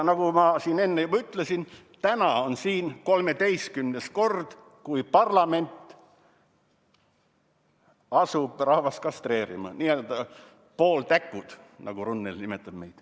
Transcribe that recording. Nagu ma siin enne juba ütlesin, täna on siin 13. kord, kui parlament asub rahvast kastreerima, n‑ö pooltäkud, nagu Runnel meid nimetab.